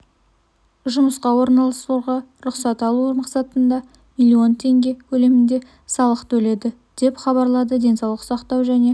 жұмысқа орналастыруға рұқсат алу мақсатында миллион теңге көлемінде салық төледі деп хабарлады денсаулық сақтау және